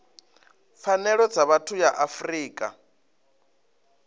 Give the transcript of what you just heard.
pfanelo dza vhathu ya afrika